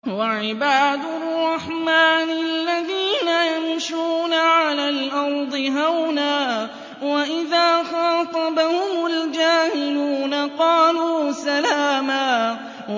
وَعِبَادُ الرَّحْمَٰنِ الَّذِينَ يَمْشُونَ عَلَى الْأَرْضِ هَوْنًا وَإِذَا خَاطَبَهُمُ الْجَاهِلُونَ قَالُوا سَلَامًا